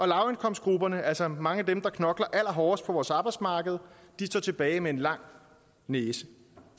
lavindkomstgrupperne altså mange af dem der knokler allerhårdest på vores arbejdsmarked står tilbage med en lang næse